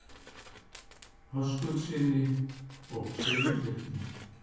Höskuldssyni og Sigurbirni